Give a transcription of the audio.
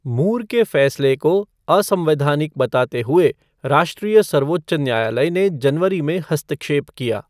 मूर के फैसले को असंवैधानिक बताते हुए राष्ट्रीय सर्वोच्च न्यायालय ने जनवरी में हस्तक्षेप किया।